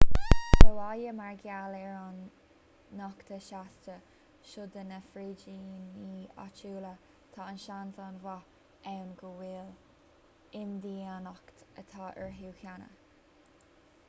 sa bhaile mar gheall ar an nochtadh seasta seo do na frídíní áitiúla tá seans an-mhaith ann go bhfuil imdhíonacht agat orthu cheana